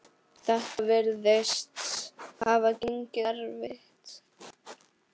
Þetta virðist hafa gengið eftir.